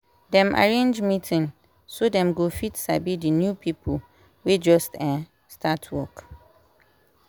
dem arrange meeting so dem go fit sabi d new people wey just um start work